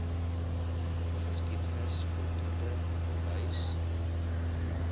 geskiedenis voldoende bewys